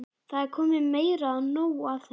Það er komið meira en nóg af þessu!